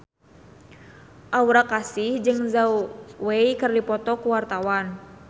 Aura Kasih jeung Zhao Wei keur dipoto ku wartawan